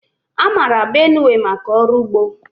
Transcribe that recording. A mara Benue maka ọrụ ugbo.